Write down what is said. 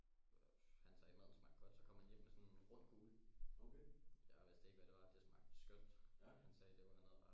Han sagde maden smagte godt så kom han hjem med sådan en rund kugle jeg vidste ikke hvad det var det smagte skønt han sagde det var noget